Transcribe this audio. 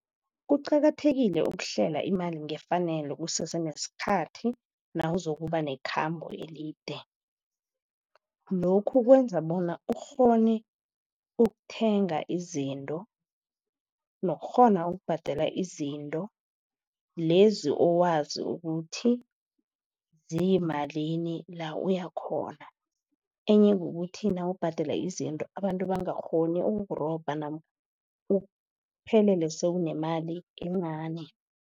Kuqakathekile ukuhlela imali ngefanelo kusese nesikhathi, nawuzokuba nekhambo elide. Lokhu kwenza bona ukghone ukuthenga izinto, nokukghona ukubhadela izinto, lezi owazi ukuthi ziyimalini la uya khona. Enye kukuthi nawubhadela izinto, abantu bangakghoni ukurobha uphelele sewunemali encani.